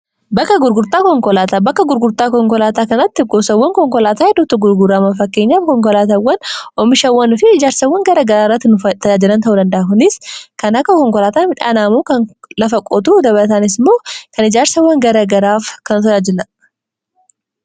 bakkaa gurguraa konkolaataa bakka gurgurtaa konkolaataa kanatti goosawwan konkolaataa heddutu gurguraamaa fakkeenya konkolaatawwan oomishawwanifi ijaarsawwan gara garaarrati nuf tayaajilan ta'u dandaa kunis kan akka konkolaataa midhaan aamuu kan lafa qootu dabataanis moo kan ijaarsawwan gara garaaf kan taaajilaadha.